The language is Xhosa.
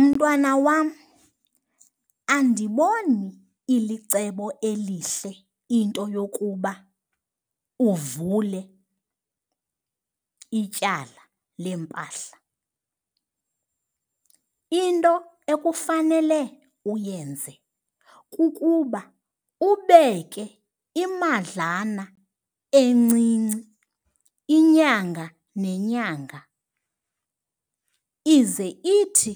Mntwana wam, andiboni ilicebo elihle into yokuba uvule ityala leempahla. Into ekufanele uyenze kukuba ubeke imadlana encinci inyanga nenyanga ize ithi